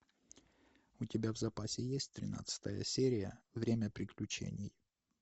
у тебя в запасе есть тринадцатая серия время приключений